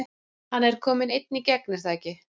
Hann er kominn einn í gegn er það ekki?